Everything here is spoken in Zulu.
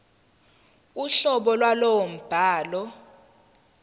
uhlobo lwalowo mbhalo